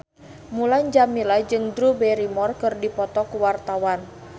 Mulan Jameela jeung Drew Barrymore keur dipoto ku wartawan